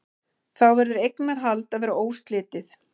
Þá verður eignarhald að vera óslitið.